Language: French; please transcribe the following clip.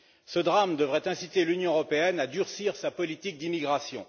Ce drame aurait dû inciter l'Union européenne à durcir sa politique d'immigration.